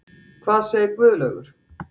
Hvað segir Guðlaugur?